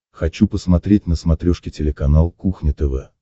хочу посмотреть на смотрешке телеканал кухня тв